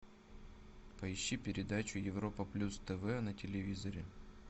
поищи передачу европа плюс тв на телевизоре